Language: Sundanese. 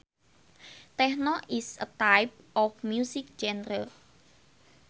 Techno is a type of music genre